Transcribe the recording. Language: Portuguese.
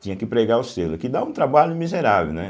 Tinha que pregar o selo, que dá um trabalho miserável, né?